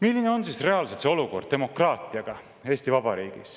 Milline on reaalselt olukord demokraatiaga Eesti Vabariigis?